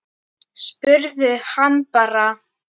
Spurðu hann bara.